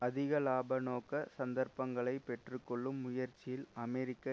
அதிக இலாபநோக்க சந்தர்பங்களை பெற்று கொள்ளும் முயற்சியில் அமெரிக்க